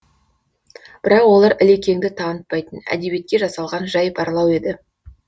бірақ олар ілекеңді танытпайтын әдебиетке жасалған жай барлау еді